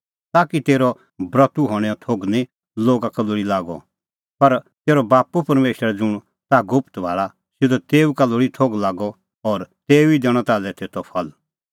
ताकि तेरअ ब्रतू हणैंओ थोघ निं लोगा का लोल़ी लागअ पर तेरअ बाप्पू परमेशर ज़ुंण ताह गुप्त भाल़ा सिधअ तेऊ का लोल़ी थोघ लागअ और तेऊ ई दैणअ ताल्है तेतो फल